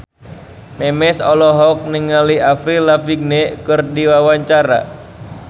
Memes olohok ningali Avril Lavigne keur diwawancara